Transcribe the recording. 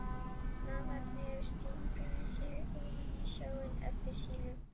Mávarnir stinga sér ofan í sjóinn eftir sílum.